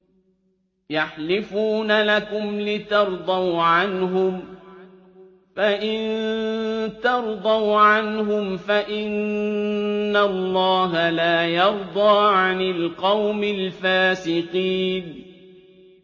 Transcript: يَحْلِفُونَ لَكُمْ لِتَرْضَوْا عَنْهُمْ ۖ فَإِن تَرْضَوْا عَنْهُمْ فَإِنَّ اللَّهَ لَا يَرْضَىٰ عَنِ الْقَوْمِ الْفَاسِقِينَ